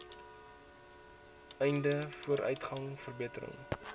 einde vooruitgang verbetering